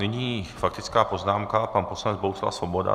Nyní faktická poznámka - pan poslanec Bohuslav Svoboda.